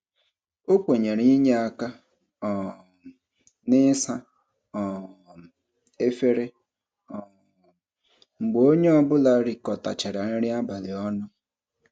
O kwenyere inye aka um n'ịsa um efere um mgbe onye ọbụla rikọtachara nri abalị ọnụ.